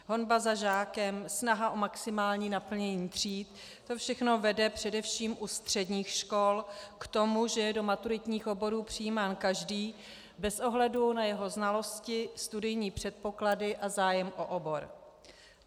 Honba za žákem, snaha o maximální naplnění tříd, to všechno vede především u středních škol k tomu, že je do maturitních oborů přijímán každý bez ohledu na jeho znalosti, studijní předpoklady a zájem o obor.